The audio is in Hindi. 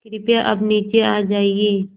कृपया अब नीचे आ जाइये